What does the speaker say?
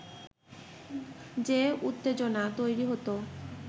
যে উত্তেজনা তৈরি হতো